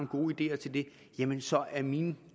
gode ideer til det jamen så er min